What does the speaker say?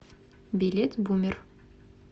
билет бумер